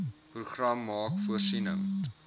program maak voorsiening